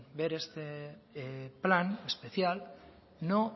ver este plan especial no